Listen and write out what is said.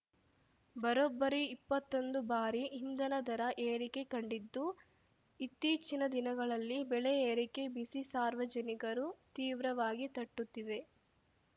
ಬರೋಬ್ಬರಿ ಇಪ್ಪತ್ತೊಂದು ಬಾರಿ ಇಂಧನ ದರ ಏರಿಕೆ ಕಂಡಿದ್ದು ಇತ್ತೀಚಿನ ದಿನಗಳಲ್ಲಿ ಬೆಲೆ ಏರಿಕೆ ಬಿಸಿ ಸಾರ್ವಜನಿಕರು ತೀವ್ರವಾಗಿ ತಟ್ಟುತ್ತಿದೆ